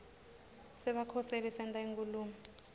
sebakhoseli senta inkhulumo